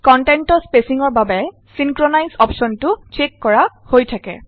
কন্টেন্টৰ স্পেচিঙৰ বাবে চিনক্ৰনাইজ অপশ্যনটো চ্চেক কৰা হৈ থাকে